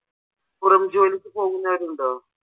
പുറം ജോലിക്ക് പോകുന്നവരുണ്ടോ?